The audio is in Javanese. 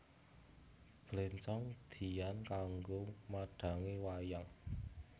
Bléncong diyan kanggo madhangi wayang